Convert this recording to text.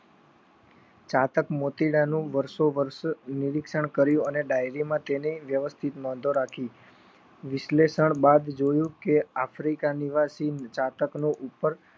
સાતક મોતીડાં નું વર્ષો વર્ષ નરીક્ષણ કર્યું અને ડાયરી માં તેની વ્યવવસ્થિત નોંધો રાખી વિશ્લેષણ બાદ જોયું કે આફ્રિકા ની નિવાસી ની જાતક નો ઉપર